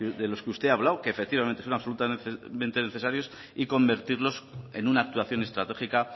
de los que usted ha hablado que efectivamente son absolutamente necesarios y convertirlos en una actuación estratégica